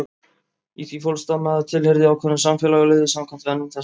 Í því fólst að maður tilheyrði ákveðnu samfélagi og lifði samkvæmt venjum þess.